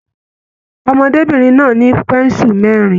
Ọmọdébinrin náà ni pensu mẹrin.